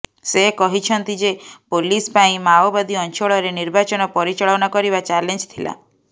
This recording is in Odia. ସେ କହିଛନ୍ତି ଯେ ପୋଲିସ ପାଇଁ ମାଓବାଦୀ ଅଞ୍ଚଳରେ ନିର୍ବାଚନ ପରିଚାଳନା କରିବା ଚାଲେଞ୍ଜ ଥିଲା